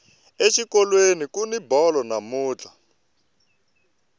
exikolweni kuni bolo namuntlha